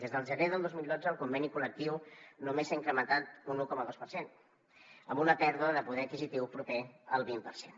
des del gener del dos mil dotze el conveni col·lectiu només s’ha incrementat un un coma dos per cent amb una pèrdua de poder adquisitiu proper al vint per cent